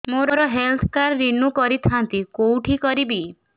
ମୋର health card renew କରିଥାନ୍ତି କୋଉଠି କରିବି